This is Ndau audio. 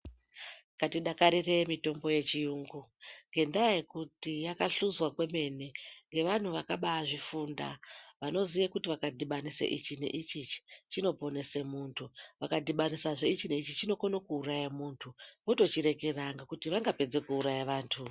Ngatidakarire mitombo yechiyungu nendaa yekuti yakahluzwa kwemene nevantu vakabazvifunda vanoziya kuti vakadhubanisa ichi neichi chinoponesa muntu ukadhinisa ichi neichi chinokona kuuraya muntu votochirekera nekuti vangapedza kuuraya vantu.